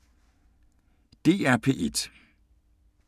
DR P1